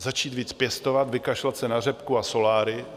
Začít víc pěstovat, vykašlat se na řepku a soláry.